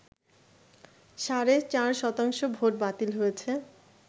সাড়ে ৪ শতাংশ ভোট বাতিল হয়েছে